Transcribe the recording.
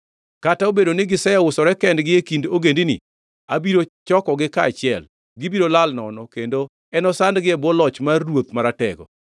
Kata obedo ni giseusore kendgi e kind ogendini, abiro chokogi kaachiel. Gibiro lal nono kendo enosandgi e bwo loch mar ruoth maratego.